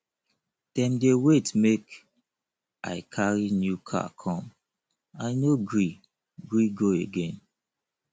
dem dey wait make i carry new car come i no gree gree go again